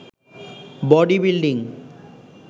body building